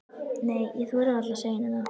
Nei, ég þori varla að segja henni það.